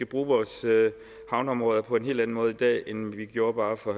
bruge vores havneområder på en helt anden måde i dag end vi gjorde for